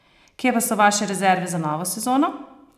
Kje pa so vaše rezerve za novo sezono?